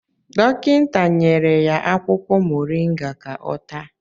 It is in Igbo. Dọkịta nyere ya akwụkwọ moringa ka ọ taa